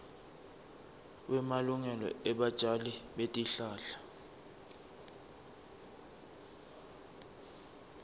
wemalungelo ebatjali betihlahla